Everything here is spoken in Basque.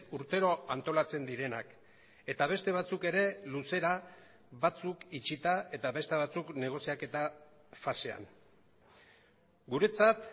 urtero antolatzen direnak eta beste batzuk ere luzera batzuk itxita eta beste batzuk negoziaketa fasean guretzat